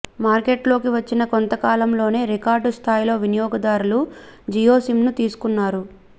మార్కెట్లోకి వచ్చిన కొంతకాలంలోనే రికార్డు స్థాయిలో వినియోగదారులు జియో సిమ్ను తీసుకున్నారు